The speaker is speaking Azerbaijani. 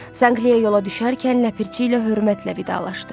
Sankliyaya yola düşərkən ləpirçi ilə hörmətlə vidalaşdı.